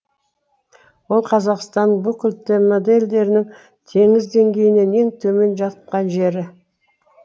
ол қазақстанның бүкіл тмд елдерінің теңіз деңгейінен ең төмен жаткан жері